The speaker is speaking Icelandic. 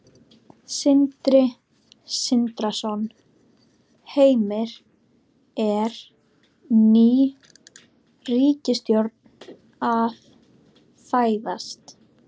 Sindri Sindrason: Heimir, er ný ríkisstjórn að fæðast?